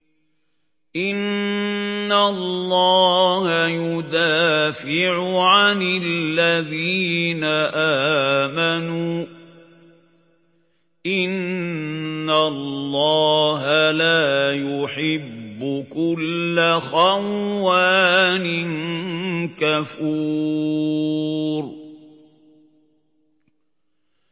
۞ إِنَّ اللَّهَ يُدَافِعُ عَنِ الَّذِينَ آمَنُوا ۗ إِنَّ اللَّهَ لَا يُحِبُّ كُلَّ خَوَّانٍ كَفُورٍ